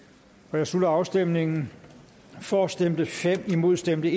jeg slutter afstemningen for stemte fem imod stemte